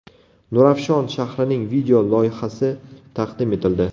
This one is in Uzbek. Nurafshon shahrining video loyihasi taqdim etildi .